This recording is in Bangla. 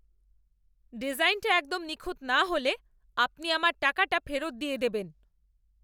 ডিজাইনটা একদম নিখুঁত না হলে আপনি আমার টাকাটা ফেরত দিয়ে দেবেন।